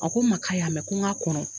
A ko n ma k'a y'a mɛn ko n k'a kɔnɔ.